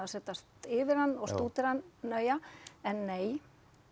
að setjast yfir hann og stúdera hann nægilega en nei